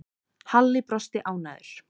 Halli brosti ánægður.